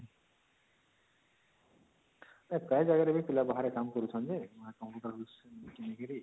ନାଇଁ ପ୍ରାୟ ଜାଗାରେ ବି ପିଲା ବାହାରେ କାମ କରୁଛନ୍ତି ଯେ computer